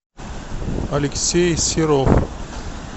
алексей серов